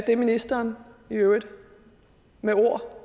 det ministeren i øvrigt med ord